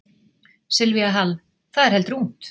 Silvía Hall: Það er heldur ungt?